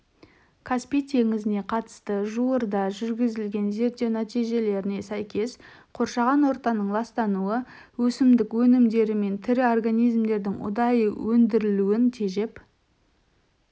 каспий теңізіне қатысты жуырда жүргізілген зерттеу нәтижелеріне сәйкес қоршаған ортаның ластануы өсімдік өнімдері мен тірі организмдердің ұдайы өндірілуін тежеп